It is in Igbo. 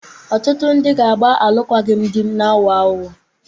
Ọtụtụ ndị di ga-agba alụkwaghịm di na-aghọ aghụghọ